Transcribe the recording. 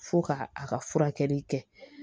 Fo ka a ka furakɛli kɛ